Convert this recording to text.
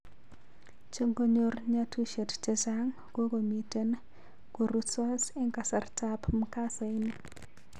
Chengoyor nyatusiet chechaang kokomiten korusos en kasarta ap mkasa ini